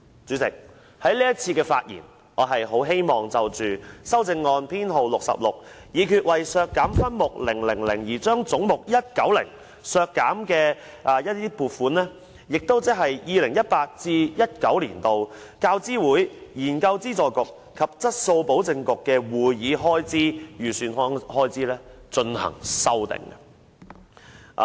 主席，我在這次希望就修正案編號66發言，修正案旨在議決為削減分目000而將總目190的撥款削減，即修訂 2018-2019 年度"教資會、研究資助局及質素保證局的會議開支"預算開支。